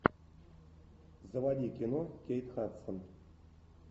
заводи кино кейт хадсон